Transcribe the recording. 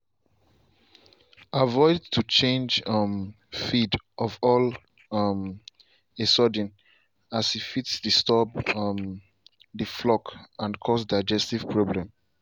avoid to change um feed all of um a sudden as e fit disturb um the flock and cause digestive problem.